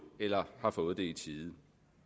eller har fået det i tide